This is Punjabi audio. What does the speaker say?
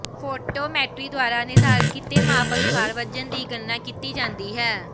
ਫੈਟੋਮੈਟਰੀ ਦੁਆਰਾ ਨਿਰਧਾਰਿਤ ਕੀਤੇ ਮਾਪ ਅਨੁਸਾਰ ਵਜ਼ਨ ਦੀ ਗਣਨਾ ਕੀਤੀ ਜਾਂਦੀ ਹੈ